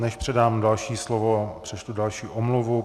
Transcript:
Než předám další slovo, přečtu další omluvu.